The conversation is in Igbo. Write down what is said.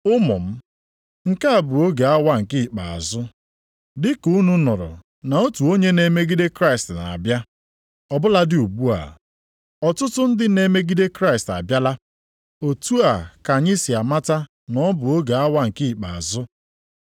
Ụmụ m, nke a bụ oge awa nke ikpeazụ. Dịka unu nụrụ na otu onye na-emegide Kraịst na-abịa, ọ bụladị ugbu a, ọtụtụ ndị na-emegide Kraịst abịala. Otu a ka anyị si amata na ọ bụ oge awa nke ikpeazụ.